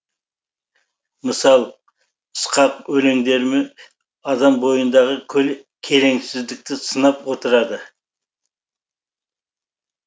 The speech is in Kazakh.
мысал сықақ өлеңдерімен адам бойындағы келеңсіздіктерді сынап отырады